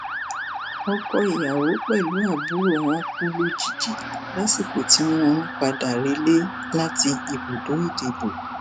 ọkọ ìyàwó pẹlú àbúrò wọn kú lójijì lásìkò tí wọn ń padà rẹlẹ láti ibùdó ìdìbò